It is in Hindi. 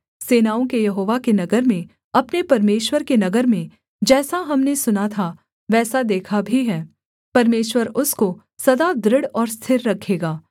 सेनाओं के यहोवा के नगर में अपने परमेश्वर के नगर में जैसा हमने सुना था वैसा देखा भी है परमेश्वर उसको सदा दृढ़ और स्थिर रखेगा